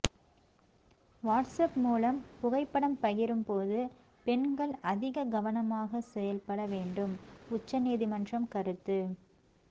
WhatsApp மூலம் புகைப்படம் பகிரும்போது பெண்கள் அதிக கவனமாக செயல்பட வேண்டும் உச்ச நீதிமன்றம் கருத்து